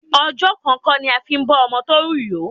Ọjọ́ kan kọ́ ni a máa bọ́ ọmọ tó rù yó.